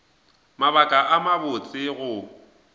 mabaka a mabotse a go